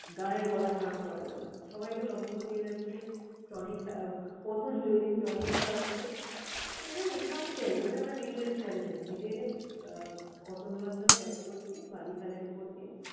গানের গলা খারাপ করা যাবে না। সবাইকে লবঙ্গ দিয়ে যাচ্ছে, tonic আহ পতঞ্জলী tonic খাওয়াচ্ছে। তো এরকমই খামখেয়ালী, মানে আমরা নিজেদের খেয়ালে থাকি। হেঁটে হেঁটে আহ auto ধরার জন্য back করছি বালিখালের উপর দিয়ে